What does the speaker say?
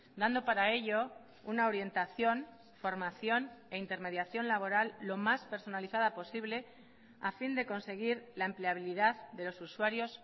dando para ello una orientación formación e intermediación laboral lo más personalizada posible a fin de conseguir la empleabilidad de los usuarios